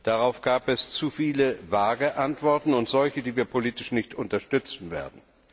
Darauf gab es zu viele vage Antworten und solche, die wir politisch nicht unterstützen werden.